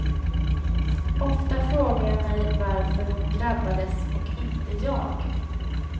Ofta frågar jag mig varför hon drabbades och inte jag.